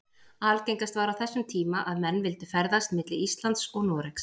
Algengast var á þessum tíma að menn vildu ferðast milli Íslands og Noregs.